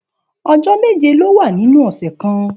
Òjò méjé ló wà ninú òsè kàn